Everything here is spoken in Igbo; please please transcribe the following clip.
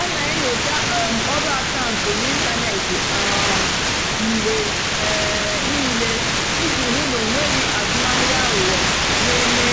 ọ́ nà-ènyócha um ọ́rụ́ àkàụ́ntụ́ n'ị́ntánètị́ um mgbe um níìlé ìjì hụ́ ná ọ́ nwèghị́ àzụ́mahìá àghụ́ghọ́ nà-èmè.